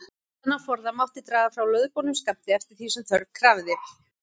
Þennan forða mátti draga frá lögboðnum skammti, eftir því sem þörf krafði.